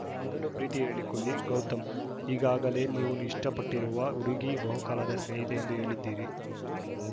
ಮೊದಲು ಪ್ರೀತಿ ಹೇಳಿಕೊಳ್ಳಿ ಗೌತಮ್‌ ಈಗಾಗಲೇ ನೀವು ಇಷ್ಟಪಟ್ಟಿರುವ ಹುಡುಗಿ ಬಹುಕಾಲದ ಸ್ನೇಹಿತೆ ಎಂದು ಹೇಳಿದ್ದೀರಿ